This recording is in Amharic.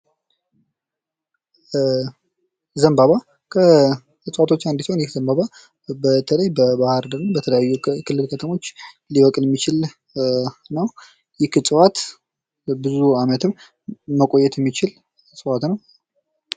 ዘንባባ ከእጽዋቶች አንዱ ሲሆን ይህ ዘንባባ በተለይ በባህር ዳር እንዲሁም በተለያዩ የክልል ከተሞች ሊበቅል የሚችል እፅዋት ነው። ይህ እጽዋት ብዙ ዓመትን መቆየት የሚችል እፅዋት ነው።